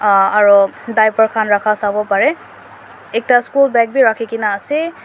aah aro diaper khan rakha sawo pare ekta school bag bi rakhi kena ase--